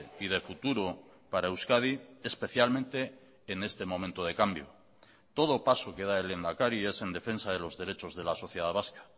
y de futuro para euskadi especialmente en este momento de cambio todo paso que da el lehendakari es en defensa de los derechos de la sociedad vasca